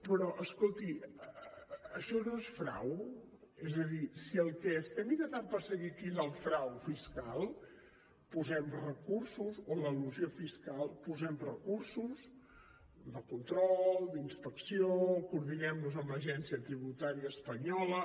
però escolti això no és frau és a dir si el que estem intentant perseguir aquí és el frau fiscal o l’elusió fiscal posem recursos de control d’inspecció coordinem nos amb l’agència tributària espanyola